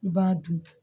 I b'a dun